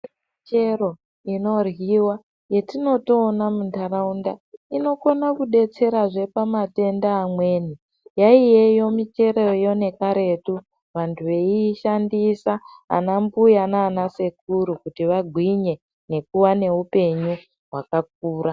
Michero inoryiwa yatinotoona muntaraunda inokona kudetserazve pamatenda amweni. Yaiyeyo micheroyo nekaretu vantu veishandisa ana mbuya nana sekru kuti vagwinye nekuva neupenyu hwakakura